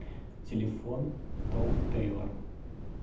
телефон том тэйлор